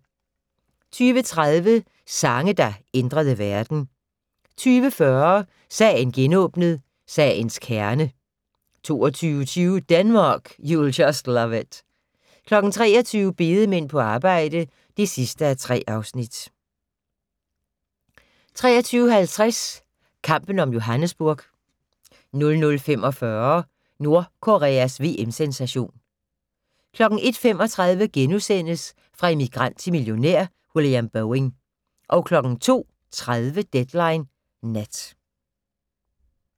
20:30: Sange, der ændrede verden 20:40: Sagen genåbnet: Sagens kerne 22:20: Denmark, you'll just love it 23:00: Bedemænd på arbejde (3:3) 23:50: Kampen om Johannesburg 00:45: Nordkoreas VM-sensation 01:35: Fra immigrant til millionær: William Boeing * 02:30: Deadline Nat